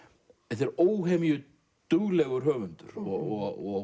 þetta er óhemju duglegur höfundur og